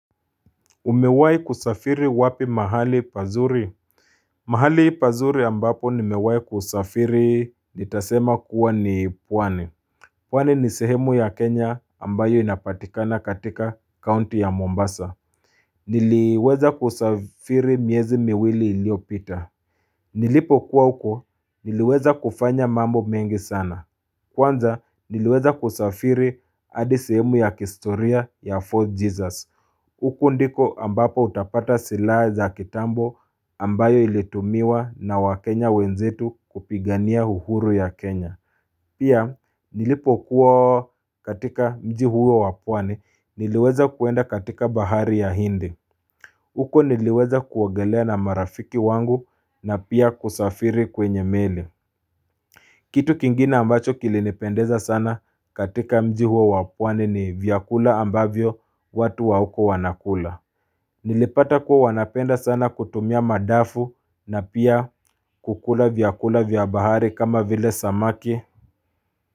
Umewai kusafiri wapi mahali pazuri? Mahali pazuri ambapo nimewai kusafiri nitasema kuwa ni pwani. Pwani ni sehemu ya Kenya ambayo inapatikana katika county ya Mombasa. Niliweza kusafiri miezi miwili iliopita. Nilipokuwa huko niliweza kufanya mambo mengi sana. Kwanza niliweza kusafiri hadi sehemu ya kihistoria ya Fort Jesus. Huko ndiko ambapo utapata silaha za kitambo ambayo ilitumiwa na wakenya wenzetu kupigania uhuru ya Kenya. Pia nilipokuwa katika mji huo wa pwani niliweza kuenda katika bahari ya hindi. Huko niliweza kuogelea na marafiki wangu na pia kusafiri kwenye meli. Kitu kingine ambacho kilinipendeza sana katika mji huo wa pwani ni vyakula ambavyo watu wa huko wanakula. Nilipata kuwa wanapenda sana kutumia madafu na pia kukula vyakula vya bahari kama vile samaki.